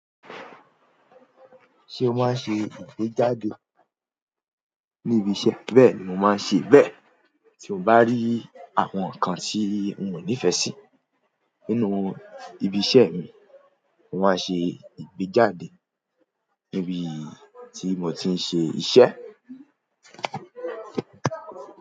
Ṣé o máa ń ṣe ìgbéjáde ní ibi iṣẹ́? Bẹ́ẹ̀ ni mo máa ń ṣe bẹ́ẹ̀. Tí mo bá rí àwọn nǹkan tí n ò nífẹ̀ẹ́ sí nínú ibi iṣẹ́ mi, mo máa ń ṣe ìgbéjáde níbi tí mo ti ń ṣe iṣẹ́.